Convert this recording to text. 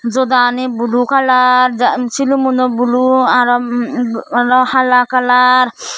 jodaani blue colour shilumun uh blue aroh umm hala colour.